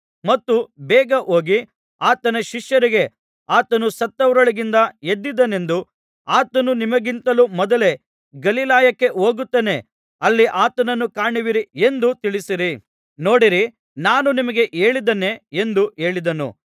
ಮತ್ತು ಬೇಗ ಹೋಗಿ ಆತನ ಶಿಷ್ಯರಿಗೆ ಆತನು ಸತ್ತವರೊಳಗಿಂದ ಎದ್ದಿದ್ದಾನೆಂದು ಆತನು ನಿಮಗಿಂತಲೂ ಮೊದಲೇ ಗಲಿಲಾಯಕ್ಕೆ ಹೋಗುತ್ತಾನೆ ಅಲ್ಲಿ ಆತನನ್ನು ಕಾಣುವಿರಿ ಎಂದು ತಿಳಿಸಿರಿ ನೋಡಿರಿ ನಾನು ನಿಮಗೆ ಹೇಳಿದ್ದೇನೆ ಎಂದು ಹೇಳಿದನು